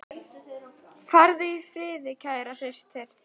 Farðu í friði, kæra systir.